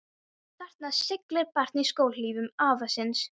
Þarna siglir barn í skóhlífum afa síns.